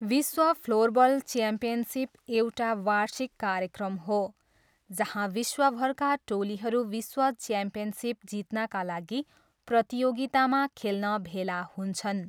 विश्व floorball championship एउटा वार्षिक कार्यक्रम हो जहाँ विश्वभरका टोलीहरू विश्व च्याम्पियनसिप जित्नाका लागि प्रतियोगितामा खेल्न भेला हुन्छन्।